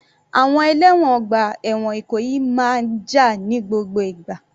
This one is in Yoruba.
Àwọn ẹlẹ́wọ̀n ọgbà ẹ̀wọ̀n Ìkòyí máa jà ní gbogbo ìgbà.